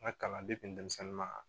N ka kalanden denmisɛnnin ma